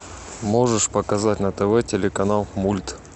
можешь показать на тв телеканал мульт